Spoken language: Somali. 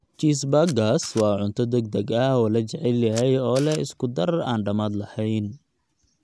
Cheeseburgers waa cunto degdeg ah oo la jecel yahay oo leh isku-dar aan dhammaad lahayn.